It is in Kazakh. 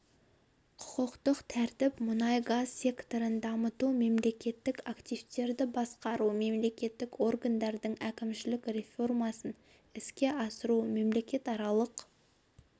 құқықтық тәртіп мұнай-газ секторын дамыту мемлекеттік активтерді басқару мемлекеттік органдардың әкімшілік реформасын іске асыру мемлекетаралық